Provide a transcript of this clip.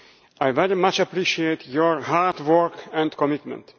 I very much appreciate your hard work and commitment.